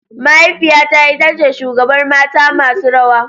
Mahaifiyata ita ce shugabar mata masu rawa.